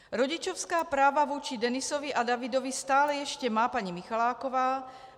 Rodičovská práva vůči Denisovi a Davidovi stále ještě má paní Michaláková.